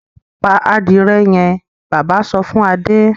pa adìrẹ yẹn! bàbá sọ fún Adé.